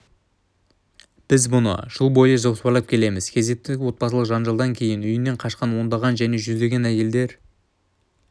біз мұны жыл бойы жоспарлап келеміз кезекті отбасылық жанжалдан кейін үйінен қашқан ондаған және жүздеген әйелдер